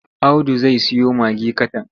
Audu zai siyo magi katan.